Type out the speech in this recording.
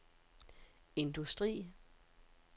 industri